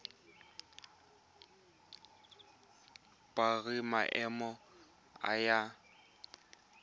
biro ya maemo ya aforika